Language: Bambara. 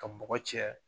Ka bɔgɔ cɛ